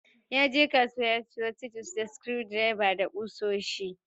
Yaje kasuwa ya siyo chisels da screwdrivers da kusoshi.